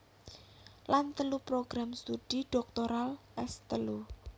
Lan telu program studi dhoktoral S telu